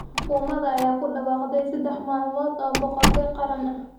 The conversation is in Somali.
Xukuumadda ayaa ku dhawaaqday saddex maalmood oo baroor diiq qaran ah.